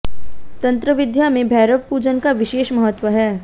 तंत्र विद्या में भैरव पूजन का विशेष महत्व है